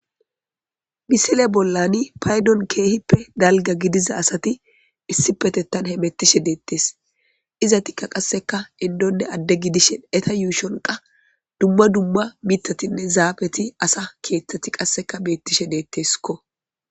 Misile bollani paydon keehippe dalga gidiza asati issi petettan he mettishe deettes iza tikka qasseka indonne adde gidishin eta yuushonqa dumma dumma mitatinne zaabeti asa keeththeti qasseka beettishe deetteeskko